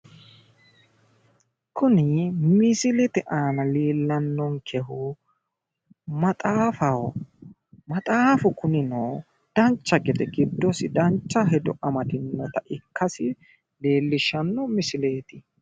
Kunni misillete aanna leellanonkehu maxaaffaho. Maxaafu kunnino dancha gede gidosi dancha hedo amadinotta ikkasi leelishano misilleeti.